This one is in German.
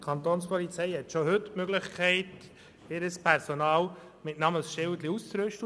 Die Kapo hat schon heute die Möglichkeit, ihr Personal mit Namensschildern auszurüsten.